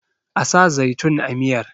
a sa zaitun a miyar!